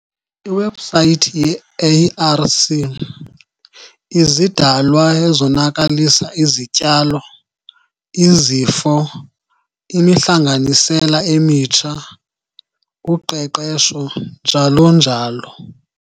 Iwebhusayithi yeARC- Izidalwa ezonakalisa izityalo, izifo, imihlanganisela emitsha, uqeqesho njalo njalo.